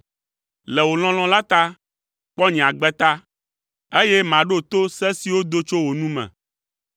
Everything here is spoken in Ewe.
Le wò lɔlɔ̃ la ta, kpɔ nye agbe ta, eye maɖo to se siwo do tso wò nu me.